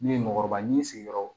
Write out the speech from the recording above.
Ne ye mɔgɔkɔrɔba ni n sigiyɔrɔw